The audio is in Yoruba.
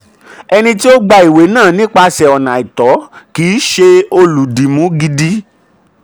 ẹni tí ó gba ìwé náà nípasẹ̀ ọ̀nà àìtọ́ kì í ṣe olùdìmú gidi.